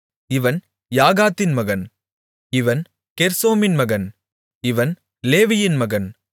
இவன் யாகாதின் மகன் இவன் கெர்சோமின் மகன் இவன் லேவியின் மகன்